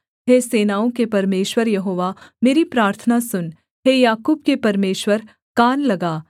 हे सेनाओं के परमेश्वर यहोवा मेरी प्रार्थना सुन हे याकूब के परमेश्वर कान लगा सेला